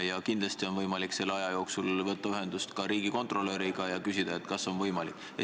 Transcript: Ja kindlasti on võimalik selle aja jooksul võtta ühendust ka riigikontrolöriga ja küsida, kas see on võimalik.